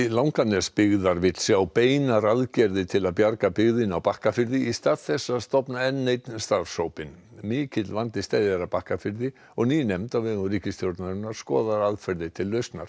Langanesbyggðar vill sjá beinar aðgerðir til að bjarga byggðinni á Bakkafirði í stað þess að stofna enn einn starfshópinn mikill vandi steðjar að Bakkafirði og ný nefnd á vegum ríkisstjórnarinnar skoðar aðferðir til lausnar